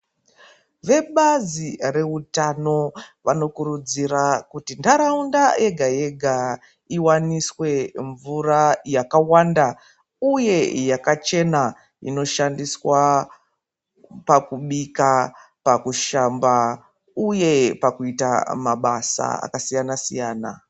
Vebazi reutano vanokurudzira kuti ntharaunda yega yega iwaniswe mvura yakawanda uye yakachena inoshandiswa pakubika pakushamba uye pakuita mabasa akasiyanasiyana .